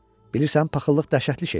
Bilirsən, paxıllıq dəhşətli şeydir.